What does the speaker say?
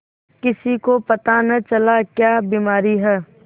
किसी को पता न चला क्या बीमारी है